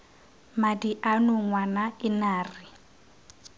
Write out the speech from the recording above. madi ano ngwana ena re